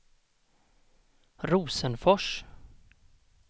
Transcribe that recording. Rosenfors